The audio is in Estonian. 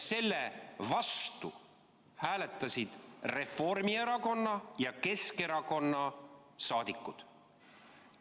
Selle vastu hääletasid Reformierakonna ja Keskerakonna liikmed.